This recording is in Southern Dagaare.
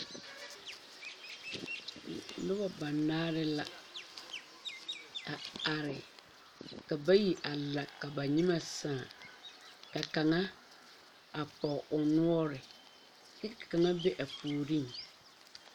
Nuba banaare la a arẽ ka bayi a la ka ba nyimɛ saã ka kanga a pɔgi ɔ nɔɔri kye ka kanga be a pouring.